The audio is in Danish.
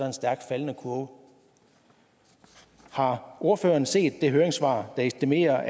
en stærkt faldende kurve har ordføreren set det høringssvar der estimerer